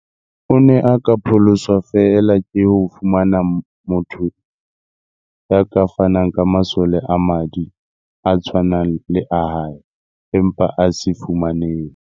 O ne a ka pholoswa feela ke ho fumana motho ya ka fanang ka masole a madi a tshwanang le a hae, empa a se fumanehe.